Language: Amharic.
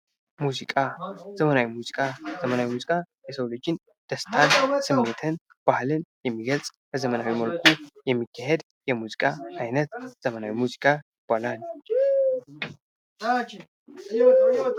ሙዚቃ ዘመናዊ ሙዚቃ፦ የሰውን ልጅ ደስታን፣ ስሜትን፣ ባህልን የሚገልጽ በዘመናዊ መልኩ የሚካሄድ የሙዚቃ አይነት ዘመናዊ ሙዚቃ ይባላል።